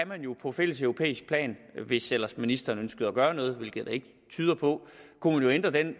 man jo på fælleseuropæisk plan hvis ellers ministeren ønskede at gøre noget hvilket det ikke tyder på ændre den